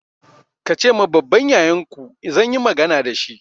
Ka ce ma babban yayanku zan yi magana da shi!